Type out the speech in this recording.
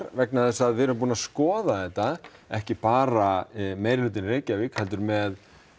vegna þess að við erum búin að skoða þetta ekki bara meirihlutinn í Reykjavík heldur með